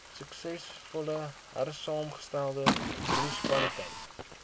suksesvol hersaamgestelde munisipaliteite